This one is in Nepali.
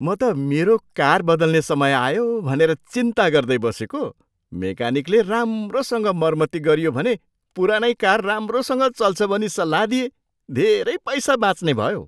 म त मेरो कार बदल्ने समय आयो भनेर चिन्ता गर्दै बसेको, मेकानिकले राम्रोसँग मर्मती गरियो भने पुरानै कार राम्रोसँग चल्छ भनी सल्लाह दिए। धेरै पैसा बाँच्ने भयो।